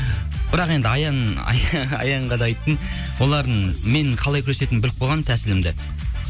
бірақ енді аян аянға да айттым олардың менің қалай күресетінімді біліп қойға тәсілімді